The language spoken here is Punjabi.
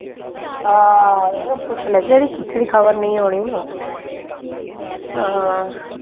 ਹਾਂ ਇਹਨੂੰ ਪੁੱਛ ਲੈ ਜੇੜੀ ਖਿਚੜੀ ਨਈ ਉਣੀ ਉਹ